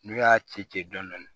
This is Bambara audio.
N'u y'a ci ci dɔnnɛ